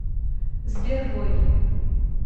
сбер рой